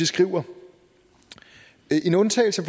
skriver en undtagelse